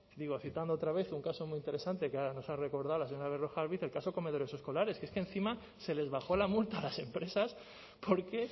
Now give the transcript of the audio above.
digo otra vez citando un caso muy interesante que nos ha recordado la señora berrojalbiz el caso de comedores escolares que es que encima se les bajó la multa a las empresas porque